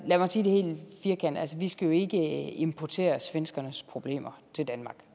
af lad mig sige det helt firkantet vi skal jo ikke importere svenskernes problemer til danmark